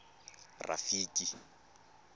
rafiki